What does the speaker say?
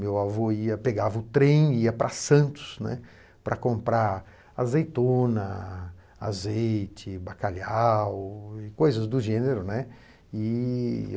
Meu avô ia pegava o trem e ia para Santos, né, para comprar azeitona, azeite, bacalhau e coisas do gênero, né.